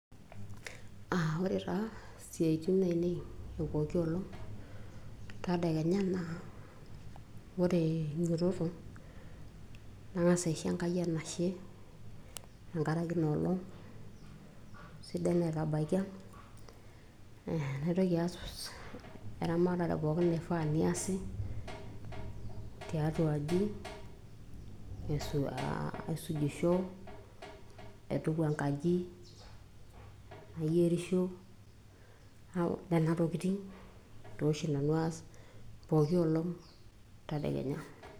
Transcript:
Ah ore taa isiaitin ainei epooki olong' tadekenya naa ore ainyototo, nang'asa aisho Enkai enashe tenkaraki inoolong' sidai naitabakia. Naitoki aas eramatare pooki naifaa niasi, tiatua aji aisujisho, naituku enkaji, nayierisho. Nena tokiting' toshi nanu aas pooki olong' tadekenya.